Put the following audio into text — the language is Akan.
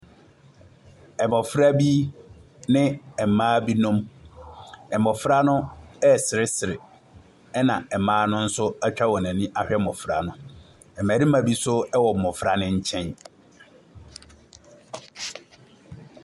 Abɔfra bi ne mmaa binom. Mmɔfra no reseresere ɛnna mma no nso atwa wɔn ani ahwɛ mmɔfra no. Mmarima bi nso wɔ mmɔfra no nkyɛn.